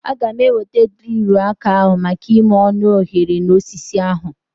Aga m eweta drilu aka ahu maka ime ọnụ oghere na osisi ahu